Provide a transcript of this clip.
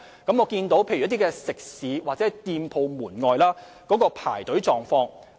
我了解一些食肆或店鋪門外排隊的狀況。